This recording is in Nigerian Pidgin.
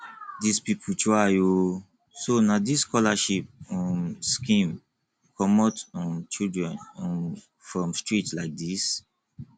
dis people try oo so na dis scholarship um scheme comot um children um from street like dis